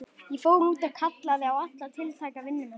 Ég fór út og kallaði á alla tiltæka vinnumenn.